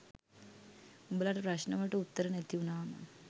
උඹලට ප්‍රශ්න වලට උත්තර නැති වුනාම